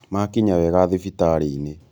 Makinya wega thibitarĩ-inĩ